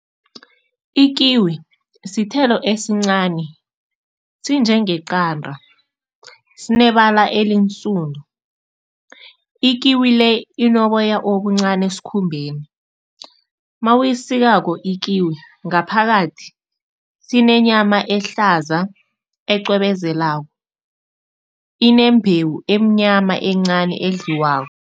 Ikiwi sithelo esincani, sinjengeqanda, sinebala elinsundu. Ikiwi le, inoboya obuncani esikhumbeni. Mawuyisikako ikiwi, ngaphakathi sinenyama ehlaza, ecwebezelako, inembewu emnyama, encani, edliwako.